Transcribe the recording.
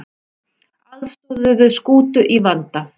Aðstoðuðu skútu í vanda